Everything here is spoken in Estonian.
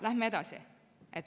Lähme edasi.